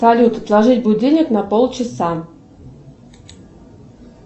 салют отложить будильник на полчаса